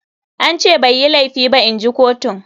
An ce bai yi laifi ba inji kotun.